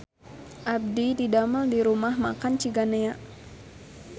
Abdi didamel di Rumah Makan Ciganea